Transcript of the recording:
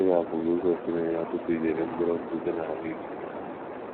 Shuga bụ́ glucose na - enye ọtụtụ ijeri mkpụrụ ndụ dị n’ahụ́ ike.